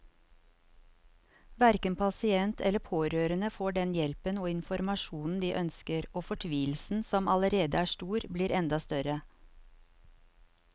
Hverken pasient eller pårørende får den hjelpen og informasjonen de ønsker, og fortvilelsen som allerede er stor, blir enda større.